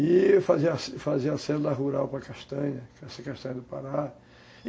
E eu fazia fazia da rural para Castanha, Castanha do Pará.